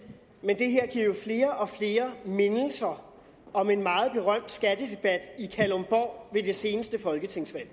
men det her giver jo flere og flere mindelser om en meget berømt skattedebat i kalundborg ved det seneste folketingsvalg